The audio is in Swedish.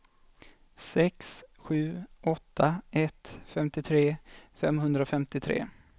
sex sju åtta ett femtiotre femhundrafemtiotre